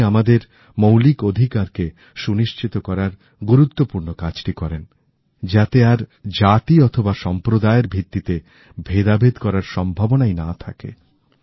উনি আমাদের মৌলিক অধিকারকে সুনিশ্চিত করার গুরুত্বপূর্ণ কাজটি করেন যাতে আর জাতি অথবা সম্প্রদায়ের ভিত্তিতে ভেদাভেদ করার সম্ভাবনাই না থাকে